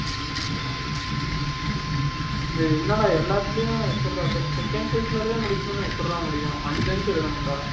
டேய் என்னடா எல்லாத்துலையும் எப்பிடிரா sec second cycle ஓடவே முடிக்கணும்ன எப்படி டா முடியும் அஞ்சு அஞ்சு எழுதனும்டா